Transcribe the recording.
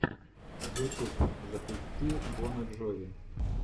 ютуб запусти бона джови